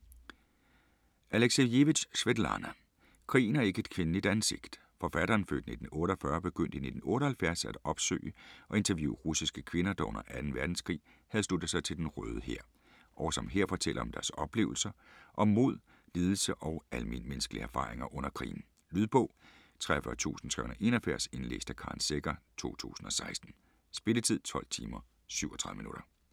Aleksijevitj, Svetlana: Krigen har ikke et kvindeligt ansigt Forfatteren (f. 1948) begyndte i 1978 at opsøge og interviewe russiske kvinder, der under 2. verdenskrig havde sluttet sig til Den Røde Hær, og som her fortæller om deres oplevelser, om mod, lidelse og almenmennneskelige erfaringer under krigen. Lydbog 43381 Indlæst af Karen Secher, 2016. Spilletid: 12 timer, 37 minutter.